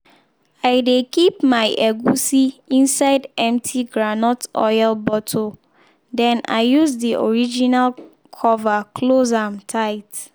i dey keep my egusi inside empty groundnut oil bottle then i use the original cover close am tight.